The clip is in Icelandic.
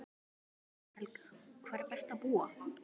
Helga: Hvar er best að búa?